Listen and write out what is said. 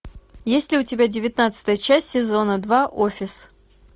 есть ли у тебя девятнадцатая часть сезона два офис